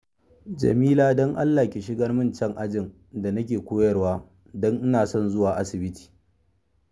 Jamila, don Allah ki shigar min can ajin da nake koyarwa, don ina son zuwa asibiti